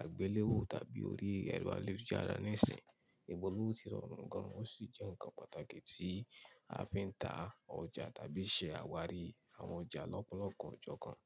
àgbéléwò tàbí orí ẹ̀rọ ayélujára níìsín. Ìpolówó ti rọrùn gan-an ó sì jẹ́ ǹkan pàtàkì tí a fi ń ta ọjà tàbí ṣe àwárí àwọn ọjà lọ́pọ̀lọpọ̀ ọjọ́ kan.